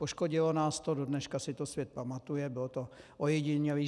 Poškodilo nás to, do dneška si to svět pamatuje, bylo to ojedinělé.